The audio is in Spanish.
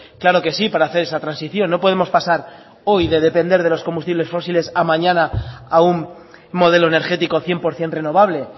claro que sí para hacer esa transición no podemos pasar hoy de depender de los combustibles fósiles a mañana a un modelo energético cien por ciento renovable